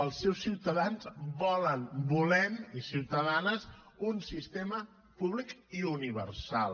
els seus ciutadans volen volem i ciutadanes un sistema públic i universal